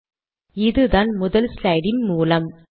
ஆகவே இதுதான் முதல் ஸ்லைடின் மூலம்